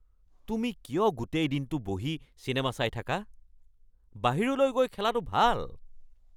তুমি কিয় গোটেই দিনটো বহি চিনেমা চাই থাকা? বাহিৰলৈ গৈ খেলাটো ভাল!